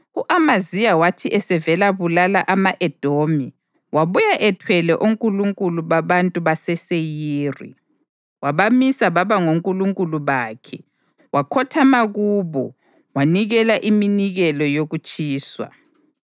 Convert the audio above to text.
U-Amaziya wathi esevela bulala ama-Edomi wabuya ethwele onkulunkulu babantu baseSeyiri. Wabamisa baba ngonkulunkulu bakhe wakhothama kubo wanikela iminikelo yokutshiswa.